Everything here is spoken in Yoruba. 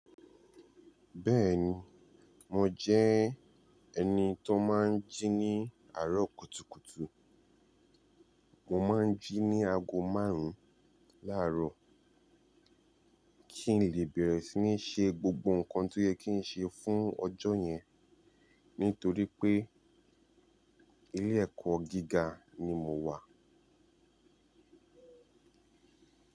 Bẹ́ẹ̀ni, mo jẹ́ ẹni tó máa ń jí ní àárọ̀ kùtùkùtù. Mo máa ń jí ní ago márùn-ún láàárọ̀ kí n lè bẹ̀rẹ̀ sí ní ṣe gbogbo nǹkan tó yẹ kí n ṣe fún ọjọ́ yẹn nítorí pé ilé ẹ̀kọ́ gíga ni mo wà.